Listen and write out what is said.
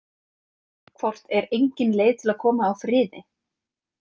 Hvort er engin leið til að koma á friði?